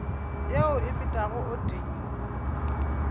yeo e fetago o tee